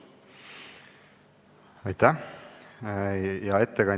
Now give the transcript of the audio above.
Aitäh, hea ettekandja!